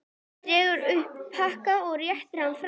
Dregur upp pakka og réttir fram.